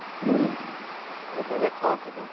আৰু বেলেগ ক' কিবা